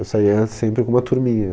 Eu saía sempre com uma turminha.